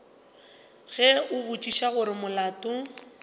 ge a botšiša gore molato